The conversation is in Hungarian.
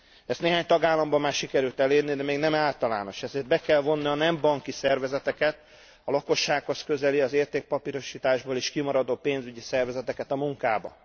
Ezt néhány tagállamban már sikerült elérni, de még nem általános, ezért be kell vonni a nem banki szervezeteket, a lakossághoz közeli, az értékpapírosításból is kimaradó pénzügyi szervezeteket a munkába.